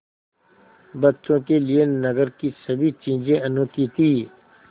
बच्चों के लिए नगर की सभी चीज़ें अनोखी थीं